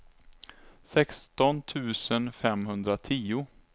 sexton tusen femhundratio